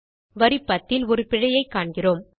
வரி 10 ல் ஒரு பிழையைக் காண்கிறோம்